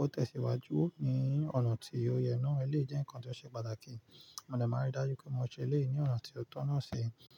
Ó tẹ̀síwájú ní ọ̀nà tí ó yẹ náà. Eleyii jẹ́ nǹkan tó ṣe pàtàkì. Mòde máa n rí dájú pé mo ṣe eleyii ní ọ̀nà tí ó tọ̀nà ṣe.